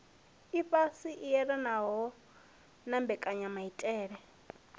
ifhasi i elanaho na mbekanyamaitele